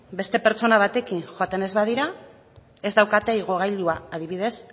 beste pertsona batekin joaten ez badira ez daukate igogailua adibidez